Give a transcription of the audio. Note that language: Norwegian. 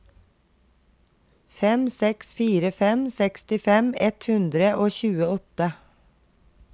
fem seks fire fem sekstifem ett hundre og tjueåtte